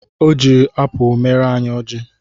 Ọ jiri apụ mere anyị ọjị